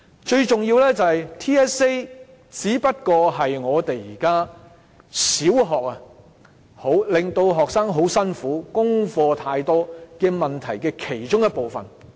最重要的是 ，TSA 只是現在小學學生感到很辛苦、功課太多的問題的其中一部分。